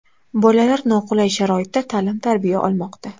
Bolalar noqulay sharoitda ta’lim-tarbiya olmoqda.